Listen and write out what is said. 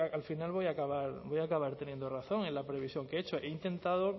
al final voy a acabar teniendo razón en la previsión que he hecho yo he intentado